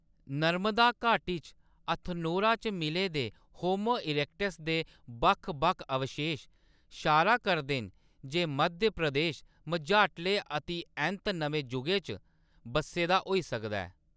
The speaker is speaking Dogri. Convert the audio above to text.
नर्मदा घाटी च हथनोरा च मिले दे होमो इरेक्टस दे बक्ख-बक्ख अवशेश इशारा करदे न जे मध्य प्रदेश मझाटले अतिऐंत नमें जुगै च बस्से दा होई सकदा ऐ।